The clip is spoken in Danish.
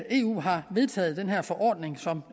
eu har vedtaget den her forordning som